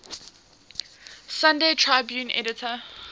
sunday tribune editor